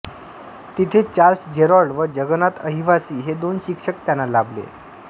तिथे Charles Gerard व जगन्नाथ अहिवासी हे दोन शिक्षक त्यांना लाभले